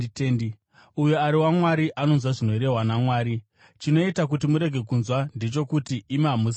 Uyo ari waMwari anonzwa zvinorehwa naMwari. Chinoita kuti murege kunzwa ndechokuti imi hamusi vaMwari.”